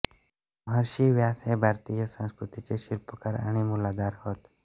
महर्षि व्यास हे भारतीय संस्कृतीचे शिल्पकार आणि मूलाधार होत